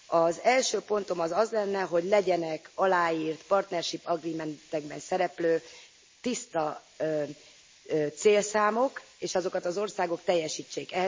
Az első pontom az lenne, hogy legyenek aláírt partnership agreementekben szereplő tiszta célszámok, és azokat az országok teljesítsék.